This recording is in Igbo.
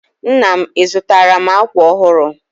Nna m, ị zụtaara m akwa ọhụrụ?